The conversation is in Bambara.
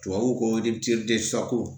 Tubabu ko